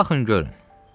Baxın görün.